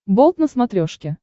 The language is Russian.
болт на смотрешке